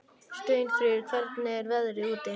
Steinfríður, hvernig er veðrið úti?